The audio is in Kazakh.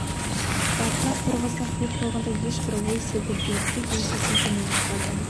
басына қорғасын құйып қойғандай ешбір ой селт етпейді тек еңсесін төмен тартады